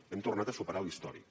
hem tornat a superar l’històric